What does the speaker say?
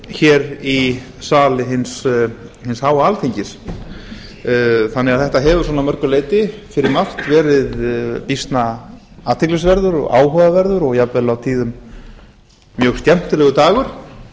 hér í sal hins háa alþingis þetta hefur því losna að mörgu leyti um margt verið býsna athyglisverður og áhugaverður og jafnvel á tíðum mjög skemmtilegur dagur